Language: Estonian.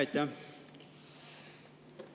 Aitäh!